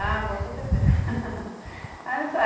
Ah, boa com certeza.